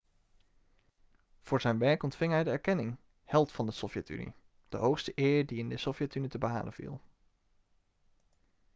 voor zijn werk ontving hij de erkenning held van de sovjet-unie' de hoogste eer die in de sovjet-unie te behalen viel